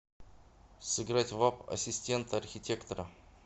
сыграть в апп ассистент архитектора